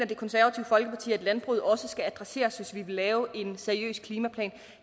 det konservative folkeparti mener at landbruget også skal adresseres hvis vi vil lave en seriøs klimaplan